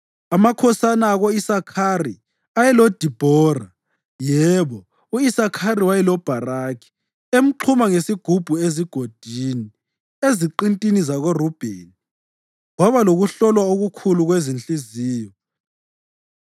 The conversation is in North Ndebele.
Amakhosana ako-Isakhari ayeloDibhora; yebo, u-Isakhari wayeloBharakhi emxhuma ngesiqubu ezigodini. Eziqintini zakoRubheni kwaba lokuhlolwa okukhulu kwezinhliziyo.